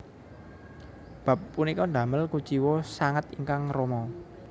Bab punika damel kuciwa sanget ingkang rama